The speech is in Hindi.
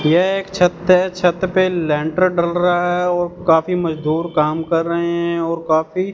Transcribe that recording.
यह एक छत है छत पे लेंटर डल रहा है और काफी मजदूर काम कर रहे हैं और काफी--